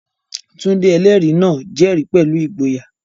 Tunde, ẹlẹ́rìí náà, jẹ́rìí pẹ̀lú ìgboyà.